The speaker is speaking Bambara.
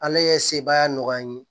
Ala ye sebaya nɔgɔya n ye